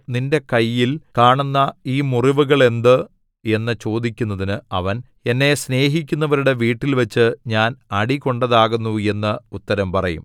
നിന്റെ കയ്യിൽ കാണുന്ന ഈ മുറിവുകൾ എന്ത് എന്നു ചോദിക്കുന്നതിന് അവൻ എന്നെ സ്നേഹിക്കുന്നവരുടെ വീട്ടിൽവച്ച് ഞാൻ അടികൊണ്ടതാകുന്നു എന്ന് ഉത്തരം പറയും